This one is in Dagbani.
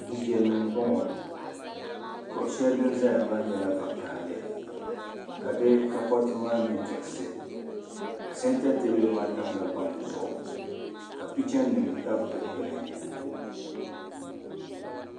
Du viɛlli m bo ŋɔ kuɣu shɛli din zaya maa nyɛla vokaɣili ka di takori ti maa nye diɣisi santa teebuli maa tamla gbaŋ zuɣu ka pichanim tabi dikpuni.